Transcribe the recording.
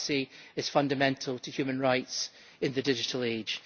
privacy is fundamental to human rights in the digital age.